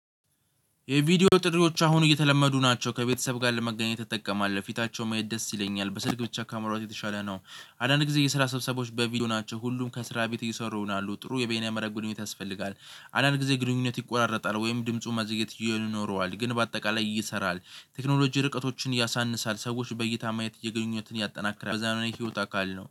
የቪዲዮ ጥሪዎች አሁን እየተለመዱ ናቸው ከቤተሰብ ጋር ለመገናኘት እጠቀማለው ፊታቸው ማየት ደስ ይለኛል በስልክ ብቻ ከማውራት የተሻለ ነው። አንዳድ ጊዜ የስራ ሰብሰባዎች በቪዲዮ ናቸው ሁሉም ከስራ ቤት እየሰሩ ይሆናሉ ጥሩ የበየነ መረብ ግንኙነት ያስፈልጋል። አንዳንድ ጊዜ ግንኙነት ይቆራረጣል ወይም ድምፁ ማዘግየት ይኖረዋል ግን በአጠቃላይ ይሰራል። ቴክኖሎጂ ርቀቶችን ያሳንሳል ሰዎች በይታ ማየት እየገኘሁትን ያጠናክራል በዛ ነው የህይወት አካል ነው